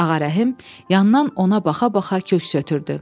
Ağarəhim yandan ona baxa-baxa köks ötürdü.